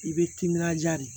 I bɛ timinanja de